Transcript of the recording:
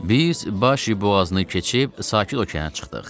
Biz Başi boğazını keçib sakit okeana çıxdıq.